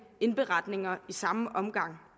indberetninger i samme omgang